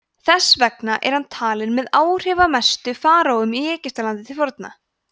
þess vegna er hann talinn með áhrifamestu faraóum í egyptalandi til forna